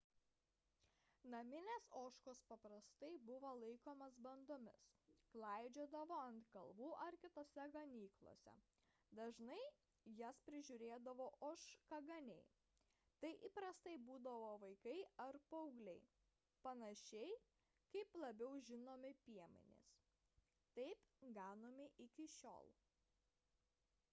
naminės ožkos paprastai buvo laikomos bandomis klaidžiodavo ant kalvų ar kitose ganyklose dažnai jas prižiūrėdavo ožkaganiai tai įprastai būdavo vaikai ar paaugliai panašiai kaip labiau žinomi piemenys taip ganoma iki šiol